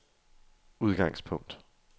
udgangspunkt